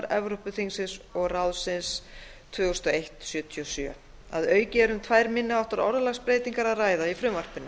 evrópuþingsins og ráðsins tvö þúsund og einn sjötíu og sjö að auki er um tvær minni háttar orðalagsbreytingar að ræða í frumvarpinu